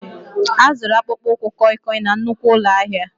A zụrụ akpụkpọ ụkwụ kọịkọị na nnukwu ụlọ ahịa